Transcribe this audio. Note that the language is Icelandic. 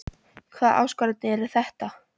Hvaða áskoranir eru þetta?